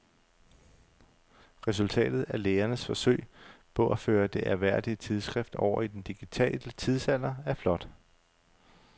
Resultatet af lægernes forsøg på at føre det ærværdige tidsskrift over i den digitale tidsalder er flot.